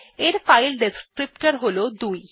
এর file descriptor হল ২